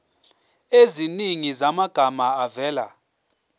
eziningi zamagama avela